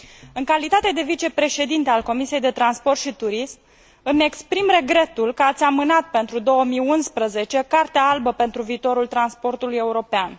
În calitate de vicepreședinte al Comisiei pentru transport și turism, îmi exprim regretul că ați amânat pentru 2011 Cartea albă pentru viitorul transportului european.